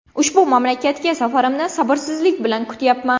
Ushbu mamlakatga safarimni sabrsizlik bilan kutyapman.